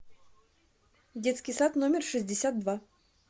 детский сад номер шестьдесят два